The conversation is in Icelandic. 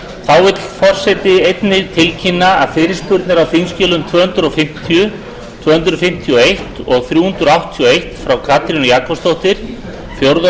þá vill forseti einnig tilkynna að fyrirspurnir á þingskjali tvö hundruð fimmtíu tvö hundruð fimmtíu og eins og þrjú hundruð áttatíu og eitt frá katrínu jakobsdóttur fjórði